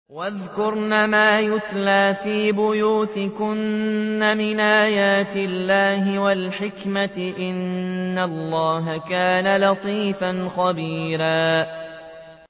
وَاذْكُرْنَ مَا يُتْلَىٰ فِي بُيُوتِكُنَّ مِنْ آيَاتِ اللَّهِ وَالْحِكْمَةِ ۚ إِنَّ اللَّهَ كَانَ لَطِيفًا خَبِيرًا